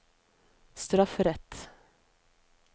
strafferett